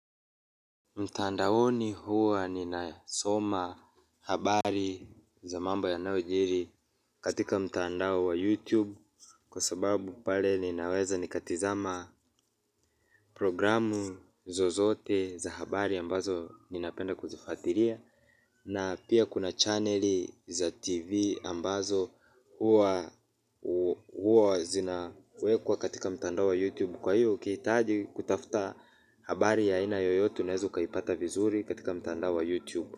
Mtaandaoni huwa ninasoma habari za mambo yanayojiri katika mtandao wa youtube kwa sababu pale ninaweza nikatizama programu zozote za habari ambazo ninapenda kuzifuatilia na pia kuna channeli za tv ambazo huwa zinawekwa katika mtaandao wa youtube. Kwa hiyo ukihitaji kutafuta habari ya aina yoyote unaweza ukaipata vizuri katika mtandao wa YouTube.